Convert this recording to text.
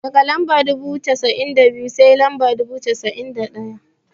Daga lamba dubu biyu da cassa'in sai lamba dubu biyu da cassa'in da ɗaya.